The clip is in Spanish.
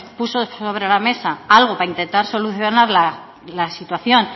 puso sobre la mesa algo para intentar solucionar la situación